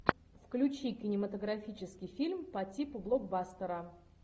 включи кинематографический фильм по типу блокбастера